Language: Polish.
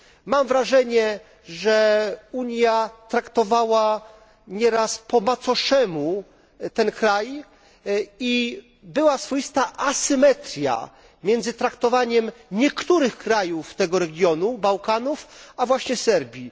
Mam wrażenie, że Unia traktowała nieraz po macoszemu ten kraj i była swoista asymetria między traktowaniem niektórych krajów tego regionu Bałkanów a właśnie Serbii.